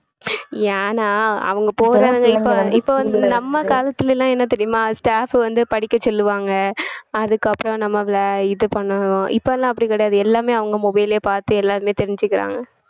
ஏன்னா அவங்க போறாங்க இப்~ இப்ப வந்து நம்ம காலத்துல எல்லாம் என்ன தெரியுமா staff வந்து படிக்க சொல்லுவாங்க அதுக்கப்புறம் நம்மள இது பண்ணனும் இப்பலாம் அப்படி கிடையாது எல்லாமே அவங்க mobile லயே பார்த்து எல்லாருமே தெரிஞ்சுக்கறாங்க